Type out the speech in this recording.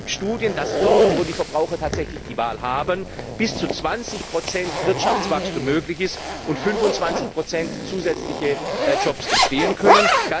Es gibt Studien, dass dort, wo die Verbraucher tatsächlich die Wahl haben, bis zu 20 Wirtschaftswachstum möglich ist und 25 zusätzliche Jobs entstehen können.